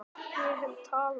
Ég hef talað.